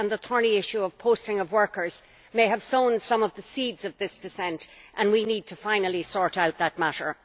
and the thorny issue of the posting of workers may have sown some of the seeds of this dissent, and we need to finally sort out that matter.